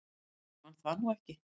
Ég man það nú ekki.